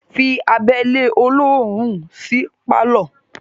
Fí abẹ́lẹ́ olóòórún sí pálọ̀